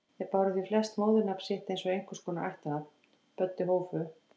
Þau báru því flest móðurnafn sitt eins og einhvers konar ættarnafn: Böddi Hófu